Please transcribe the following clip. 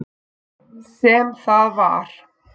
Sem það var.